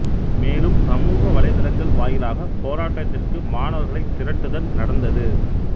மேலும் சமூக வலைத்தளங்கள் வாயிலாக போராட்டத்திற்கு மாணவர்களைத் திரட்டுதல் நடந்தது